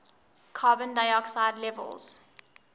carbon dioxide levels